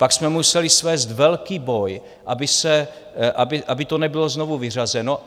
Pak jsme museli svést velký boj, aby to nebylo znovu vyřazeno.